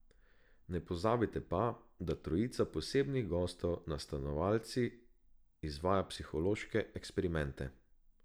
Ne pozabite pa, da trojica posebnih gostov nad stanovalci izvaja psihološke eksperimente.